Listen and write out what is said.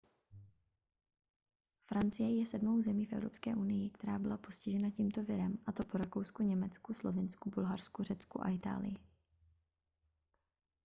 francie je sedmou zemí v evropské unii která byla postižena tímto virem a to po rakousku německu slovinsku bulharsku řecku a itálii